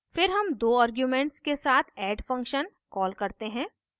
फिर हम दो आर्ग्यूमेंट्स के साथ add add function कॉल करते हैं